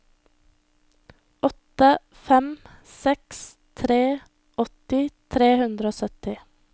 åtte fem seks tre åtti tre hundre og sytti